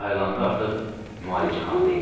Ayılanda artıq müalicəxanada idi.